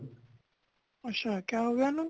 ਅੱਛਾ ਕਯਾ ਹੋਗਿਆ ਓਨੂੰ